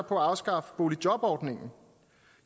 på at afskaffe boligjobordningen